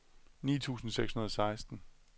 ni tusind seks hundrede og seksten